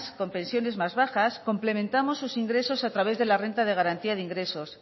con pensiones más bajas complementamos sus ingresos a través de la renta de garantía de ingresos